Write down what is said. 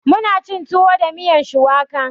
Muna cin tuwo da miyan shuwaka